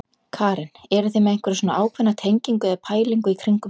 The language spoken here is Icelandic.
Karen: Eruð þið með einhverja svona ákveðna tengingu eða pælingu í kringum það?